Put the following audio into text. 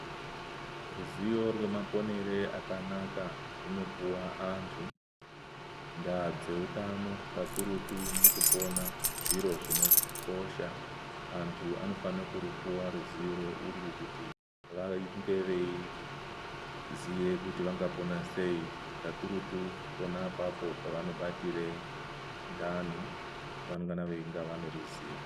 Ruziyo rwemaponere akanaka runopuwa antu ndaadzeutano kakurutu mukupona zviro zvinokosha antu anofane kurupuwa ruziyo urwu kuti vange veiziye kuti vangapona sei kakurutu pona apapo pavanobatire ndani vanofanira veinga vane ruziyo.